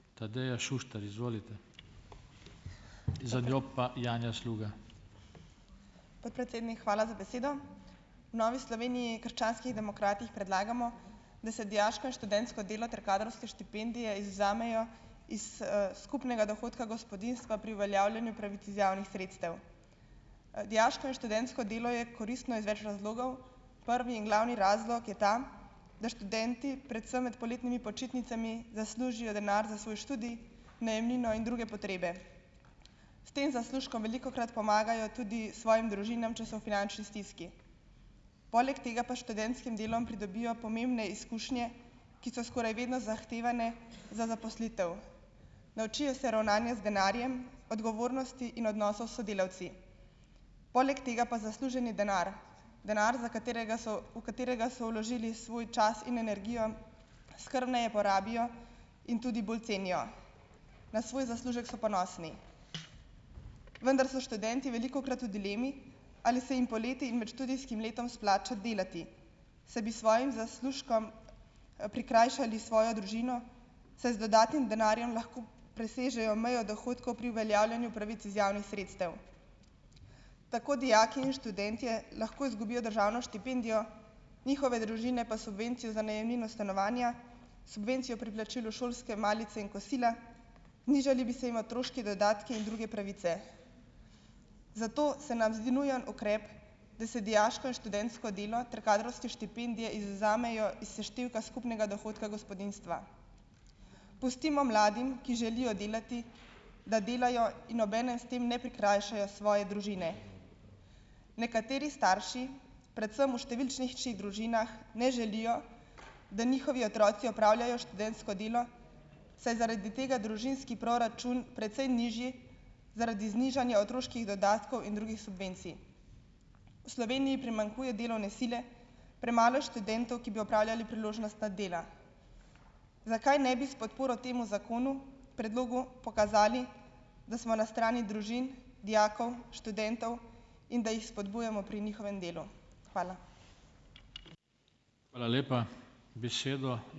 Podpredsednik, hvala za besedo. V Novi Sloveniji - krščanskih demokratih predlagamo, da se dijaško in študentsko delo ter kadrovske štipendije izvzamejo iz, skupnega dohodka gospodinjstva pri uveljavljanju pravic iz javnih sredstev. Dijaško in študentsko delo je koristno iz več razlogov. Prvi in glavni razlog je ta, da študenti, predvsem med poletnimi počitnicami zaslužijo denar za svoj študij, najemnino in druge potrebe. S tem zaslužkom velikokrat pomagajo tudi svojim družinam, če so v finančni stiski. Poleg tega pa s študentskim delom pridobijo pomembne izkušnje, ki so skoraj vedno zahtevane za zaposlitev. Naučijo se ravnanja z denarjem, odgovornosti in odnosov s sodelavci, poleg tega pa zasluženi denar, denar, za katerega so, v katerega so vložili svoj čas in energijo, skrbneje porabijo in tudi bolj cenijo. Na svoj zaslužek so ponosni. Vendar so študenti velikokrat v dilemi, ali se jim poleti in med študijskim letom splača delati, saj bi s svojim zaslužkom, prikrajšali svojo družino, saj z dodatnim denarjem lahko presežejo mejo dohodkov pri uveljavljanju pravic iz javnih sredstev. Tako dijaki in študentje lahko izgubijo državno štipendijo, njihove družine pa subvencije za najemnino stanovanja, subvencijo pri plačilu šolske malice in kosila, znižali bi se jim otroški dodatki in druge pravice. Zato se nam zdi nujen ukrep, da se dijaško in študentsko delo ter kadrovske štipendije izvzamejo iz seštevka skupnega dohodka gospodinjstva. Pustimo mladim, ki želijo delati, da delajo in obenem s tem ne prikrajšajo svoje družine. Nekateri starši, predvsem v številčnejših družinah ne želijo, da njihovi otroci opravljajo študentsko delo, saj je zaradi tega družinski proračun precej nižji zaradi znižanja otroških dodatkov in drugih subvencij. v Sloveniji primanjkuje delovne sile, premalo je študentov, ki bi opravljali priložnostna dela. Zakaj ne bi s podporo temu zakonu, predlogu, pokazali da smo na strani družin, dijakov, študentov, in da jih spodbujamo pri njihovem delu. Hvala.